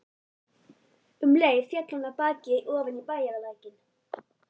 Um leið féll hann af baki ofan í bæjarlækinn.